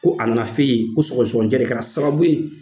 Ko a nana f'e yen, ko sɔgɔsɔgɔnijɛ de kɛra sababu ye